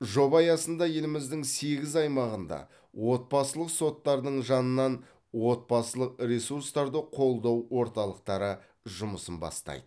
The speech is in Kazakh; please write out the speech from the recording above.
жоба аясында еліміздің сегіз аймағында отбасылық соттардың жанынан отбасылық ресурстарды қолдау орталықтары жұмысын бастайды